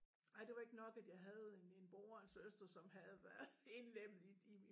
Ej det var ikke nok at jeg havde en en bror og en søster som havde været indlemmet i i